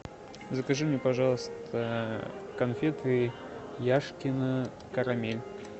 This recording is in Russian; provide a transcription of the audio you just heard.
закажи мне пожалуйста конфеты яшкино карамель